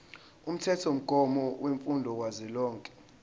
umthethomgomo wemfundo kazwelonke